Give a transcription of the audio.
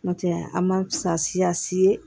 N'o tɛ a ma sa siyaasi ye